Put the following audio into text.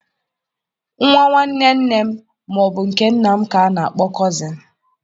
Nwa nwanne nne m ma ọ bụ nke nna m ka a na-akpọ Cozịn